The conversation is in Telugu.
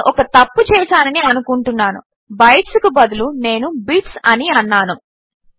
నేను ఒక తప్పు చేసానని అనుకుంటున్నాను బైట్స్కు బదులు నేను బిట్స్ అని అన్నాను